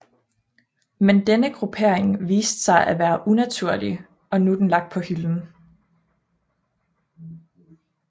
Men denne gruppering viste sig at være unaturlig og er nu lagt på hylden